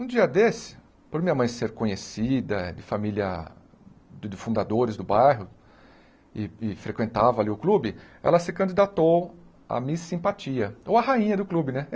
Um dia desse, por minha mãe ser conhecida de família de de fundadores do bairro e e frequentava ali o clube, ela se candidatou a Miss Simpatia, ou a rainha do clube, né?